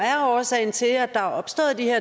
er årsagen til at der er opstået de her